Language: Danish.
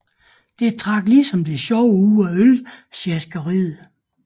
Det trak ligesom det sjove ud af ølsjaskeriet